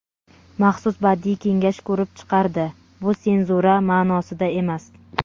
Maxsus badiiy kengash ko‘rib chiqardi (bu senzura ma’nosida emas).